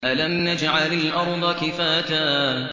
أَلَمْ نَجْعَلِ الْأَرْضَ كِفَاتًا